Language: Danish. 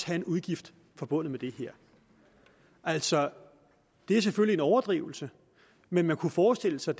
have en udgift forbundet med det her altså det er selvfølgelig en overdrivelse men man kunne forestille sig